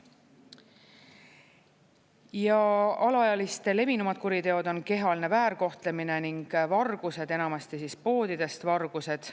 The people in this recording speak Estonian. Ja alaealiste levinumad kuriteod on kehaline väärkohtlemine ning vargused, enamasti poodidest vargused.